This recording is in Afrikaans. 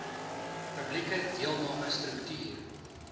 publieke deelname strukture